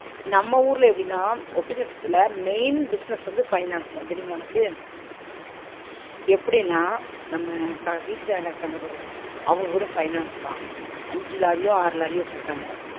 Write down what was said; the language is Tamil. நம்ம ஊருல எப்டினா ஒட்டச்சத்திரத்தில main business வந்து finance தான் தெரியுமா உனக்கு எப்பிடினா நம்ம ப வீட்டுகாரங்க இருக்காங்க பாரு அவுங்ககூட finance தான் அஞ்சு லாரியோ ஆறு லாரியோ வச்சுருக்காங்க